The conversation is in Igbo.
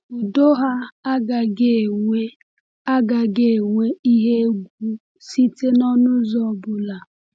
Udo ha agaghị enwe agaghị enwe ihe egwu site n’ọnụ ụzọ ọ bụla